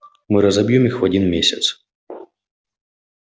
мы разобьём их в один месяц